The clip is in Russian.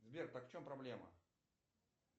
сбер так в чем проблема